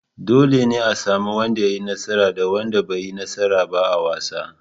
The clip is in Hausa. Dole ne a sami wanda ya yi nasara da wanda bai yi nasara ba a wasa.